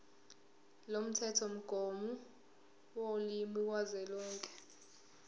lomthethomgomo wolimi kazwelonke